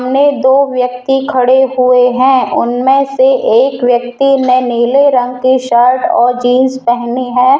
सामने दो व्यक्ति खड़े हुए हैं उनमें से एक व्यक्ति ने नीले रंग की शर्ट और जींस पहनी है।